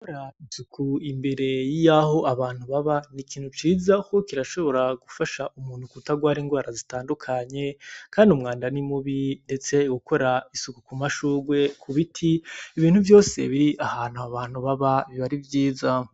Gukora isuku imbere yaho abantu baba ni ikintu ciza kuko kirashobora gufasha umuntu kutagwara ingwara zitandukanye kandi umwanda ni mubi ndetse ukora isuku ku mashurwe, ku biti ibintu vyose biri ahantu abantu baba biba ari vyiza.